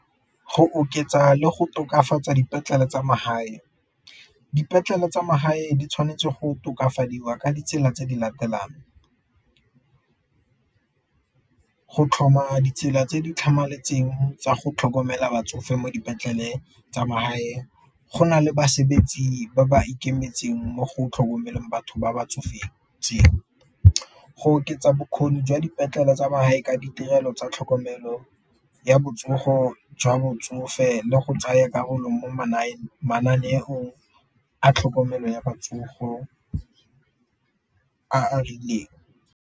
Go oketsa le go tokafatsa dipetlele tsa magae, dipetlele tsa magae di tshwanetse go tokafadiwa ka ditsela tse di latelang go tlhoma ditsela tse di tlhamaletseng tsa go tlhokomela batsofe mo dipetlele tsa magae, go na le basebetsi ba ba ikemetseng mo go tlhokomeleng batho ba ba tsofetseng. Go oketsa bokgoni jwa dipetlele tsa magae ka ditirelo tsa tlhokomelo ya botsogo jwa botsofe le go tsaya karolo mo mananeong a tlhokomelo ya a a rileng.